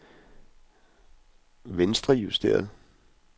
venstrejusteret